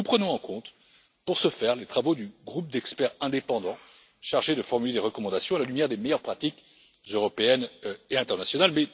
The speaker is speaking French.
Nous prenons en compte, à cet égard, les travaux du groupe d'experts indépendants chargé de formuler des recommandations à la lumière des meilleures pratiques européennes et internationales.